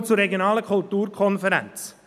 Ich komme zur regionalen Kulturkonferenz: